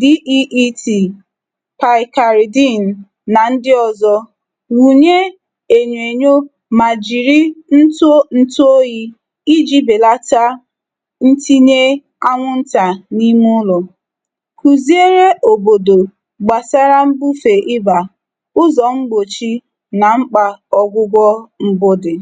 DEET, picaridin na ndị ọzọ. Wụnye enyoenyo ma jiri ntụ ntụoyi iji belata ntinye anwụnta n'ime ụlọ. Kụziere obodo gbasara mbufe ị́bà, ụzọ mgbochi na mkpa ọgwụgwọ dị.